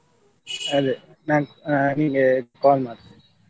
ಅದೇ ನಾನ್ ಆ ನಿಂಗೆ call ಮಾಡ್ತೇನೆ.